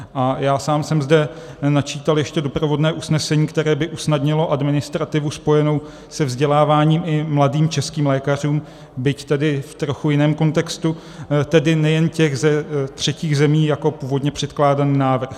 A já sám jsem zde načítal ještě doprovodné usnesení, které by usnadnilo administrativu spojenou se vzděláváním i mladým českým lékařům, byť tedy v trochu jiném kontextu, tedy nejen z těch třetích zemí, jako původně předkládaný návrh.